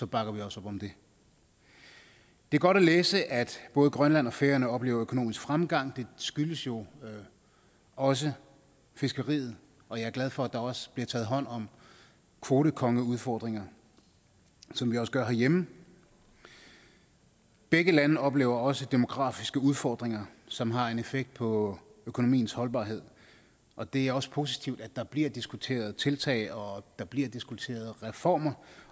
bakker vi også om det det er godt at læse at både grønland og færøerne oplever økonomisk fremgang den skyldes jo også fiskeriet og jeg er glad for at der også bliver taget hånd om kvotekongeudfordringer ligesom vi også gør herhjemme begge lande oplever også demografiske udfordringer som har en effekt på økonomiens holdbarhed og det er også positivt at der bliver diskuteret tiltag og at der bliver diskuteret reformer